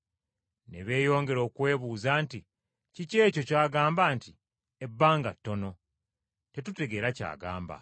Ne beeyongera okwebuuza nti, “Kiki ekyo ky’agamba nti, ‘Ebbanga ttono?’ Tetutegeera ky’agamba.”